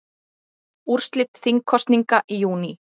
Úrslit þingkosninga í júní